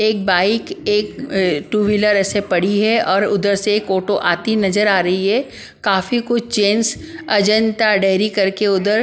एक बाइक एक two wheeler ऐसे पड़ी है और उधर से एक ऑटो आती नजर आ रही है काफी कुछ चेंस अजंता डेहरी करके उधर --